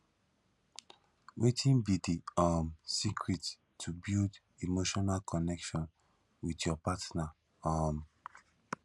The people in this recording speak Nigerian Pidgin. wetin be di um secret to build emotional connection with your partner um